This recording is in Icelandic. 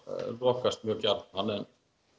lokast mjög gjarnan